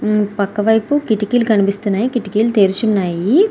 ఆ పక్కవైపు కిటికీలు కనిపిస్తూ ఉన్నాయి. కిటికీలు తెరిచి ఉన్నాయి. .>